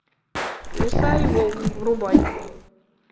лиса и волк врубай